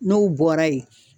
N'o bɔra ye